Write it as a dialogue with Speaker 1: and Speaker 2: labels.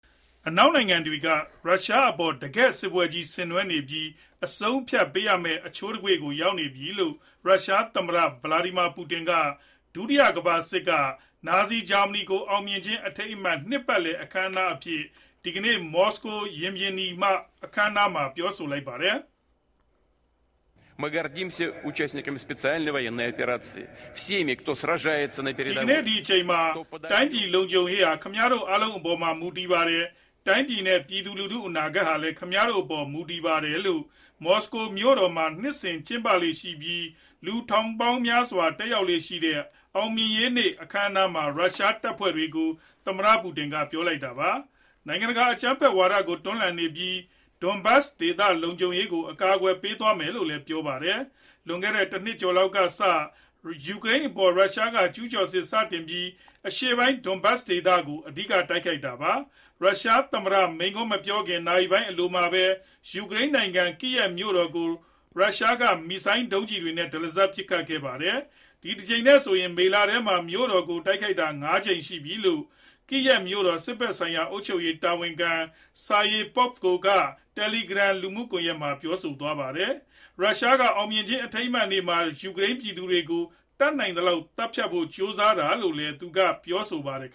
Speaker 1: အနောက်နိုင်ငံတွေဟာ ရုရှားအပေါ် တကယ့်စစ်ပွဲကြီးတခု ဆင်နွှဲနေပြီး၊ အဆုံးအဖြတ်ပေးရမယ့် အချိုးအကွေ့တခုကို ရောက်နေပြီလို့ ရုရှားသမ္မတ ဗလာဒီမီယာ ပူတင် က ဒုတိယကမ္ဘာစစ်မှာ နာဇီဂျာမနီကို အောင်မြင်ခြင်းအထိမ်းအမှတ် နှစ်ပတ်လည် အခမ်းအနားအဖြစ် ဒီကနေ့ မော်စကိုမြို့တော် ရင်ပြင်နီက အခမ်းအနားမှာ ပြောလိုက်ပါတယ်။ "
Speaker 2: ဒီကနေ့အချိန်မ
Speaker 1: ှာ တိုင်းပြည်လုံခြုံရေးဟာ ခင်ဗျားတို့ အားလုံးအပေါ်မှာ မူတည်နေပါတယ်။ တိုင်းပြည်နဲ့ ပြည်သူလူထု အနာဂတ်ဟာလည်း ခင်ဗျားတို့အပေါ် မူတည်နေပါတယ်။" လို့ မော်စကိုမြို့တော်မှာ နှစ်စဉ်ကျင်းပလေ့ရှိပြီး လူပေါင်းထောင်ချီ တက်ရောက်လေ့ရှိတဲ့ အောင်မြင်ရေးနေ့ အခမ်းအနားမှာ ရုရှားတပ်ဖွဲ့တွေကို သမ္မတ ပူတင်က ပြောလိုက်တာပါ။ နိုင်ငံတကာ အကြမ်းဖက်ဝါဒကို တွန်းလှန်နေပြီး၊ Donbas ဒေသလုံခြုံရေးကို အကာအကွယ်ပေးသွားမယ်လို့လည်း ပြောပါတယ်။ လွန်ခဲ့တဲ့ တနှစ်ကျော်လောက်ကစ ယူကရိန်းအပေါ် ရုရှားက ကျုးကျော်စစ် စတင်ခဲ့ပြီး၊ အရှေ့ပိုင်း Donbas ဒေသကို အဓိက တိုက်ခိုက်ခဲ့တာပါ။ ရုရှားသမ္မတ မိန့်ခွန်းမပြောခင် နာရီပိုင်းအလိုမှာပဲ ယူကရိန်းနိုင်ငံ Kyiv မြို့တော်ကို ရုရှားက မစ်ဇိုင်းဒုံးတွေနဲ့ တလစပ်ပစ်ခတ်ခဲ့ပါတယ်။ ဒီတကြိမ်နဲ့ဆို မေလထဲမှာ မြို့တော်ကို တိုက်ခိုက်ခံရတာ ၅ ကြိမ် ရှိပြီလို့လည်း Kyiv မြို့တော် စစ်ဖက်ဆိုင်ရာ အုပ်ချုပ်ရေးတာဝန်ခံ Serhiy Popko က Telegram လူမှုကွန်ရက်မှာ ပြောခဲ့တာပါ။ အောင်မြင်ခြင်းအထိမ်းအမှတ်နေ့မှာ ရုရှားက ယူကရိန်းပြည်သူတွေကို တတ်နိုင်သလောက် သတ်ဖြတ်ဖို့ ကြိုးစားခဲ့တာလို့လည်း ပြောပါတယ်။